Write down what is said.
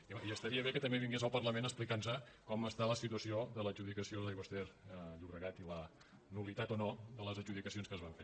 i home estaria bé que també vingués al parlament a explicar nos com està la situació de l’adjudicació d’aigües ter llobregat i la nul·litat o no de les adjudicacions que es van fer